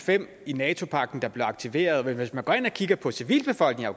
fem i nato pagten der blev aktiveret men hvis man går ind og kigger på civilbefolkningen